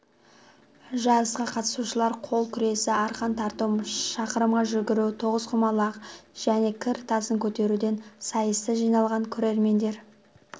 жарысқа қатысушылар қол күресі арқан тарту шақырымға жүгіру тоғызқұмалақ және кір тасын көтеруден сайысты жиналған көрермендер